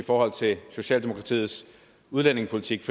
forhold til socialdemokratiets udlændingepolitik